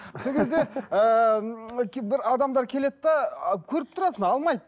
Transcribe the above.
сол кезде ыыы бір адамдар келеді де көріп тұрасың алмайды